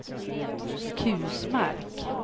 Kusmark